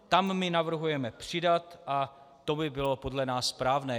Tam my navrhujeme přidat a to by bylo podle nás správné.